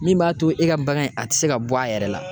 Min b'a to e ka bagan in a ti se ka bɔ a yɛrɛ la